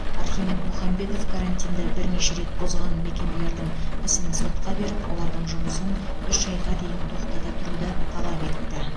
архимед мұхамбетов карантинді бірнеше рет бұзған мекемелердің ісін сотқа жіберіп олардың жұмысын үш айға дейін тоқтата тұруды талап етті